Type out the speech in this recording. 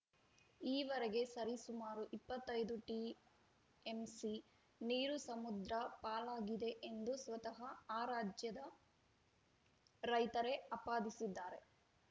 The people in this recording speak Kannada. ಈವರೆಗೆ ಸರಿಸುಮಾರು ಇಪ್ಪತ್ತ್ ಐದು ಟಿಎಂಸಿ ನೀರು ಸಮುದ್ರ ಪಾಲಾಗಿದೆ ಎಂದು ಸ್ವತಃ ಆ ರಾಜ್ಯದ ರೈತರೇ ಆಪಾದಿಸಿದ್ದಾರೆ